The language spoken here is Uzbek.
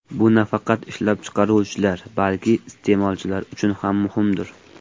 Bu nafaqat ishlab chiqaruvchilar, balki iste’molchilar uchun ham muhimdir.